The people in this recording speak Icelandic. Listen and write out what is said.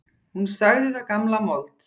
Hún sagði það gamla mold.